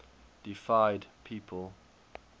deified people